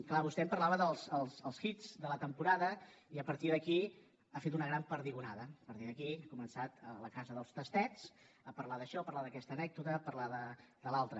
clar vostè em parlava dels hits de la temporada i a partir d’aquí ha fet una gran perdigonada a partir d’aquí ha començat a fer la casa dels tastets a parlar d’això a parlar d’aquesta anècdota a parlar de l’altra